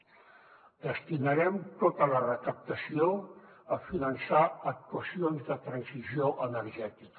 en destinarem tota la recaptació a finançar actuacions de transició energètica